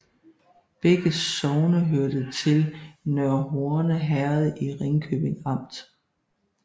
Begge sogne hørte til Nørre Horne Herred i Ringkøbing Amt